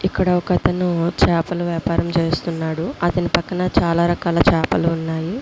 ఇక్కడ ఒకతను వచ్చి చేపల వ్యాపారం చేస్తున్నాడు. అతని పక్కన చాలా రకాలున్నాయి. కుర్చీలో కూర్చుని పక్కా లోకల్ లోకల్ ముందు వెనకాల ఒక చిన్న--